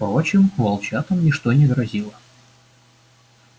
впрочем волчатам ничто не грозило